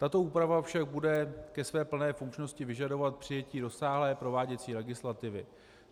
Tato úprava však bude ke své plné funkčnosti vyžadovat přijetí rozsáhlé prováděcí legislativy.